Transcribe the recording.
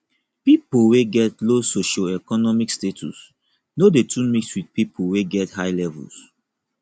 pipo wey get low socioeconomic status no de too mix with pipo wey get high levels